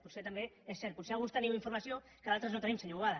potser també és cert potser alguns teniu informació que d’altres no tenim senyor boada